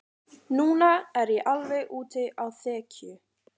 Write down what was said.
Núna er ég alveg úti á þekju.